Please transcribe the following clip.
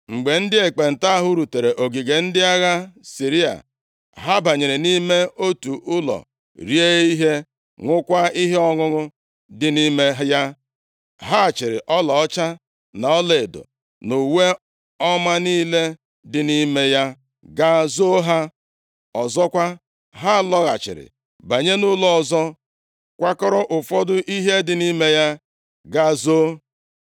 Mgbe ndị ekpenta ahụ rutere ogige ndị agha ndị Siria, ha banyere nʼime otu ụlọ rie ihe, ṅụkwaa ihe ọṅụṅụ dị nʼime ya. Ha chịịrị ọlaọcha na ọlaedo na uwe ọma niile dị nʼime ya gaa zoo ha. Ọzọkwa, ha lọghachiri banye nʼụlọ ọzọ kwakọrọ ụfọdụ ihe dị nʼime ya gaa zoo.